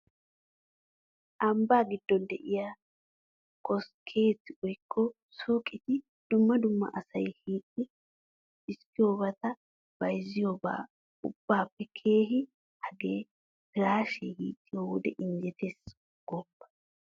Ambbaa giddon de'iya koskketi woykko suuqeti dumma dumma asay hiixxi xiskkiyobata bayzziyoba ubbaappe keehi hagee piraashee hiixxiyo wode injjetees gooppa!